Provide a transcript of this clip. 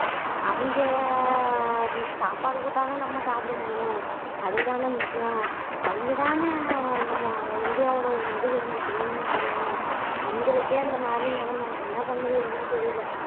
அவங்க சாப்பாடு போட்டா தான் நம்ம சாப்பிட முடியும் அது தானே முக்கியம் அவிங்க தானே நம்ம இந்தியாவோட ஒரு முதுகெலும்பு தூணுன்னு சொல்லுவோம் அவங்களுக்கே அந்த மாதிரி நிலைமை என்ன பண்ணுறதுன்னே தெரியல